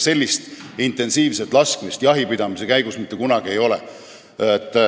Sellist intensiivset laskmist jahipidamise käigus mitte kunagi ei ole.